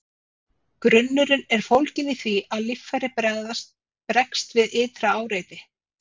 Grunnurinn er fólginn í því, að líffæri bregst við ytra áreiti.